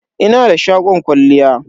Ina da shagon kwalliya.